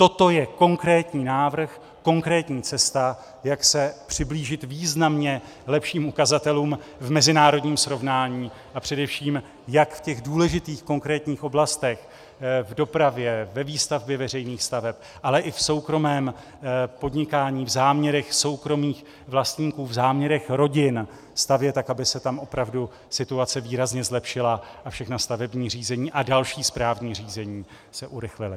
Toto je konkrétní návrh, konkrétní cesta, jak se přiblížit významně lepším ukazatelům v mezinárodním srovnání, a především jak v těch důležitých konkrétních oblastech, v dopravě, ve výstavbě veřejných staveb, ale i v soukromém podnikání, v záměrech soukromých vlastníků, v záměrech rodin stavět, tak aby se tam opravdu situace výrazně zlepšila a všechna stavební řízení a další správní řízení se urychlila.